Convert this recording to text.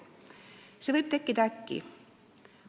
See vajadus võib tekkida äkki.